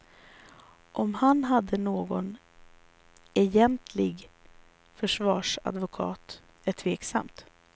Om han hade någon egentlig försvarsadvokat är tveksamt.